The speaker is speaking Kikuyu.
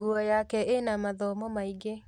Nguo yake ĩna mathomo maingĩ